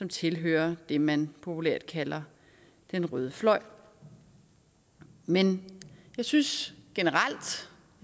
tilhører det man populært kalder den røde fløj men jeg synes generelt